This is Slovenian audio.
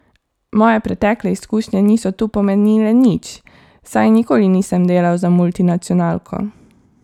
Moje pretekle izkušnje niso tu pomenile nič, saj nikoli nisem delal za multinacionalko.